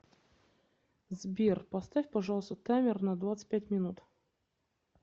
сбер поставь пожалуйста таймер на двадцать пять минут